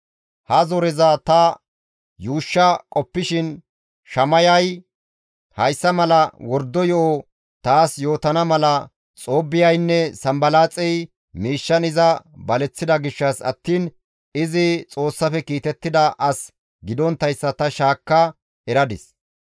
Ha zoreza ta yuushsha qoppishin Shamayay hayssa mala wordo yo7o taas yootana mala Xoobbiyaynne Sanbalaaxey miishshan iza baleththida gishshas attiin izi Xoossafe kiitettida as gidonttayssa ta shaakka eradis.